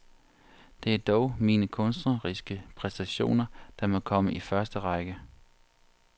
Det er dog mine kunstneriske præstationer, der må komme i første række.